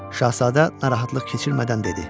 Şahzadə narahatlıq keçirmədən dedi.